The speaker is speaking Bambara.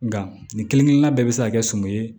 Nka nin kelen kelenna bɛɛ bɛ se ka kɛ sum ye